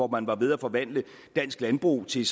man var ved at forvandle dansk landbrug til